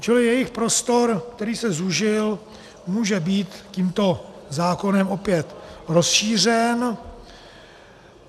Čili jejich prostor, který se zúžil, může být tímto zákonem opět rozšířen.